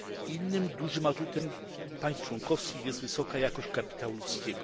Innym dużym atutem państw członkowskich jest wysoka jakość kapitału ludzkiego.